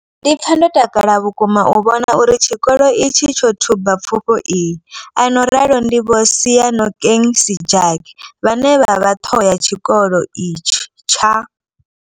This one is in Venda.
Ndi pfa ndo takala vhukuma u vhona uri tshikolo itshi tsho thuba pfufho iyi, a no ralo ndi Vho Seyanokeng Sejake vhane vha vha ṱhoho ya tshikolo itshi tsha.